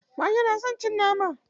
Mage na son cin nama.